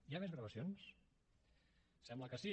hi ha més gravacions sembla que sí